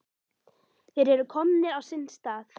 Þeir eru komnir á sinn stað.